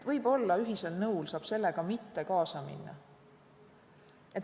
Võib-olla ühisel nõul saab sellega mitte kaasa minna.